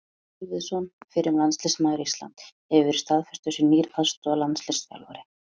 Helgi Kolviðsson, fyrrum landsliðsmaður Íslands, hefur verið staðfestur sem nýr aðstoðarlandsliðsþjálfari.